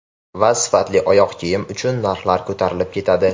Va sifatli oyoq kiyim uchun narxlar ko‘tarilib ketadi.